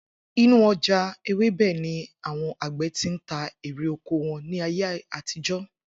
Inú o̩jà ewébè̩ ni àwo̩n àgbè̩ ti ń ta erè oko wo̩n ní ayé àtijó̩